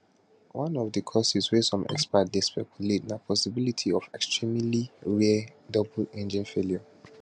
one of di causes wey some experts dey speculate na possibility of extremely rare double engine failure